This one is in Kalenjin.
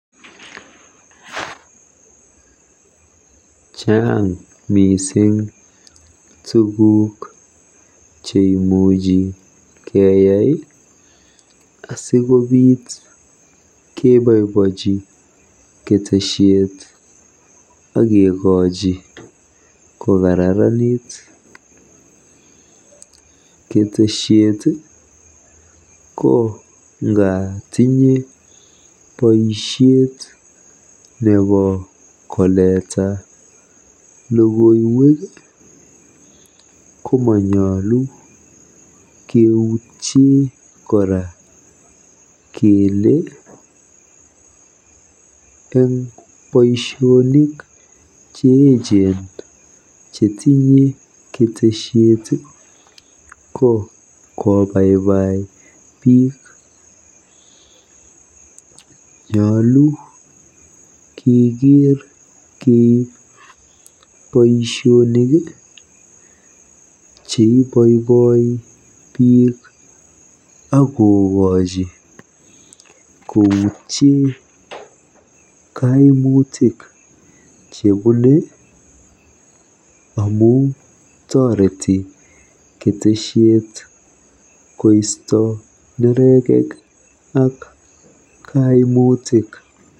Chaang mising tuguuk cheimuch keyai asikebobochi ketesiet akekoji kokararanit. Ketesiet ko nga tinye boisiet nebo koleta logoiwek ko manyolu keutie kora kele boisiet neoo netinye ketesiet ko kobaibai biik. Nyulu kekeer keib boisionik cheiboiboi biik akokoji koutie kaimutik chebune amu toreti ketesiet koisto neregek ak kaimutik.